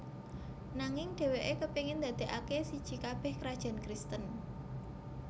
Nanging dheweke kepingin ndadekake siji kabeh krajan Kristen